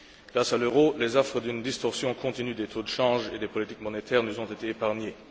Grâce à l'euro, les affres d'une distorsion continue des taux de change et des politiques monétaires nous ont été épargnées.